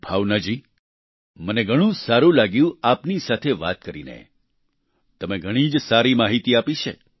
ભાવના જી મને ઘણું જ સારું લાગ્યું આપની સાથે વાત કરીને તમે ઘણી જ સારી માહિતી આપી છે